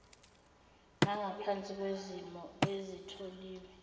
nangaphansi kwezimo ezitholiwe